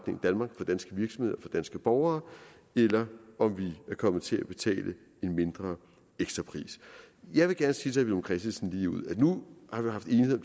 danske borgere eller om vi er kommet til at betale en mindre ekstrapris jeg vil gerne sige herre villum christensen at nu har vi haft enighed